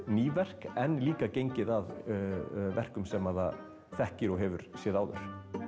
ný verk en líka gengið að verkum sem það þekkir og hefur séð áður